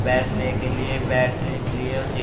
बैठने के लिए बैठने के लिए वो जी--